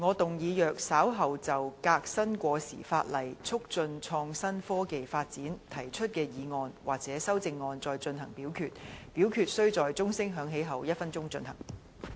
主席，我動議若稍後就"革新過時法例，促進創新科技發展"所提出的議案或修正案再進行點名表決，表決須在鐘聲響起1分鐘後進行。